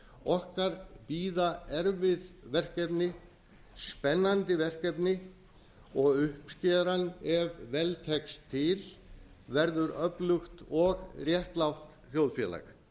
okkar bíða erfið verkefni spennandi verkefni og uppskeran ef vel tekst til verður öflugt og réttlátt þjóðfélag